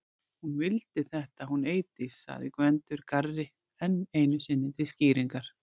Hún vildi þetta hún Eydís segir Gvendur garri enn einu sinni til skýringar.